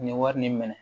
Nin wari nin minɛ